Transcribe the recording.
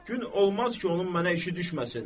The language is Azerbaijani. Gün olmaz ki, onun mənə işi düşməsin.